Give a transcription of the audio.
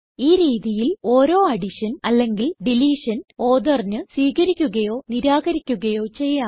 ഈ രീതിയിൽ ഓരോ അഡിഷൻ അല്ലെങ്കിൽ ഡിലീഷൻ authorന് സ്വീകരിക്കുകയോ നിരാകരിക്കുകയോ ചെയ്യാം